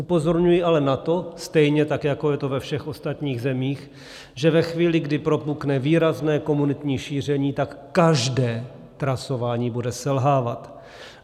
Upozorňuji ale na to, stejně tak jako je to ve všech ostatních zemích, že ve chvíli, kdy propukne výrazné komunitní šíření, tak každé trasování bude selhávat.